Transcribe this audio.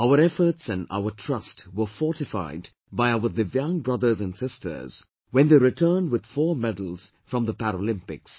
Our efforts and our trust were fortified by our Divyaang brothers and sisters when they returned with 4 medals from the Paralympics